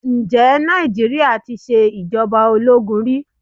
Ǹjẹ́ Nàìjíríà tí ṣe ìjọba ológun rí?